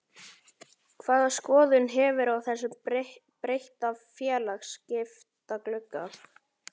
Hvaða skoðun hefurðu á þessum breytta félagaskiptaglugga?